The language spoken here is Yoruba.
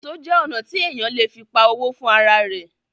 Èso jẹ́ ọnà tí èèyàn le fi pa owó fún ara rẹ̀